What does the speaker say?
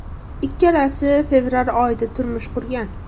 Ikkalasi fevral oyida turmush qurgan.